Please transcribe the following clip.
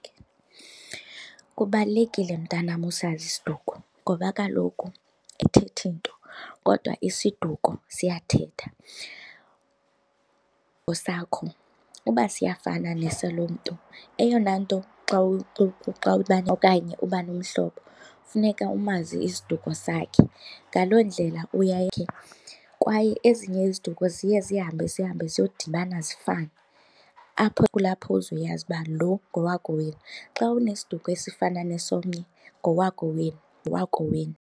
Kubalulekile mntanam usazi isiduko ngoba kaloku ayithetha nto kodwa isiduko siyathetha. Esakho uba siyafana nesalo mntu eyona nto xa xa okanye uba nomhlobo, funeka umazi isiduko sakhe. Ngaloo ndlela kwaye ezinye iziduko ziye zihambe zihambe ziyodibana zifane apho kulapho uzoyazi uba lo ngowakokwenu. Xa unesiduko esifana nesomnye ngowakokwenu, ngowakokwenu.